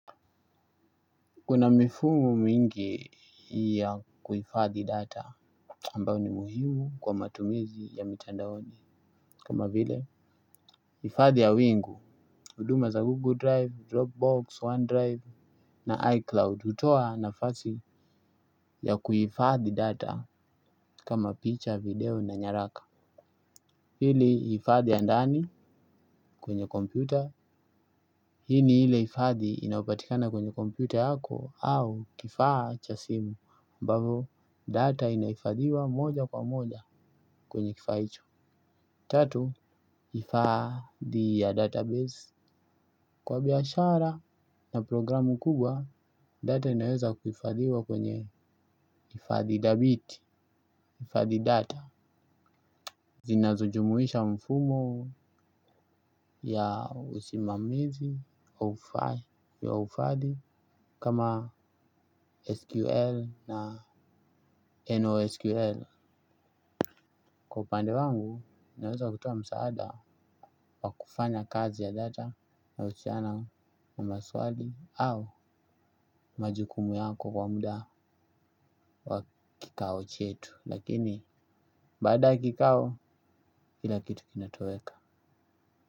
Kuna mifumo mingi ya kuhifadhi data ambayo ni muhimu kwa matumizi ya mitandaoni. Kama vile hifadhi ya wingu huduma za Google Drive, Dropbox, OneDrive na iCloud hutoa nafasi ya kuhifadhi data. Kama picture, video na nyaraka. Hili hifadhi ya ndani kwenye kompyuta. Hi ni ile hifadhi inapatikana kwenye kompyuta yako au kifaa cha simu ambavo data inahifadhiwa moja kwa moja kwenye kifaa hicho. Tatu, hifadhi ya database kwa biashara na programu kubwa. Data inaweza kuhifadhiwa kwenye hifadhi thabiti, hifadhi data zinazojumuisha mfumo ya usimamizi, haufai ya uhifadhi Kama SQL na NOSQL. Kwa upande wangu, naweza kutoa msaada wa kufanya kazi ya data na uchiana na maswali au majukumu yako kwa muda wa kikao chetu. Lakini, baada ya kikao, kila kitu kinatoweka.